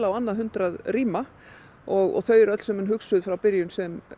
á annað hundrað rýma og þau eru öll hugsuð frá byrjun sem